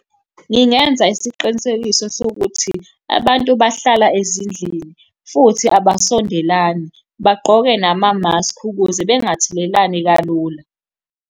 Ngingenza isiqinisekiso sokuthi, abantu bahlala ezindlini, futhi abasondelani, bagqoke namamaskhi ukuze bangathelelani kalula.